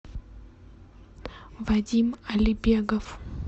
вадим алибегов